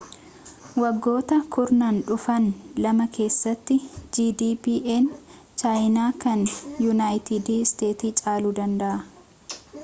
waggoota kurnaan dhufaan lama keessatti gdp'n chaayinaa kan yuunayiitid isteetsi caaluu danda'a